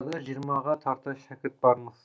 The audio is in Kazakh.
арбада жиырмаға тарта шәкірт бармыз